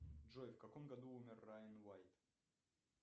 джой в каком году умер райан уайт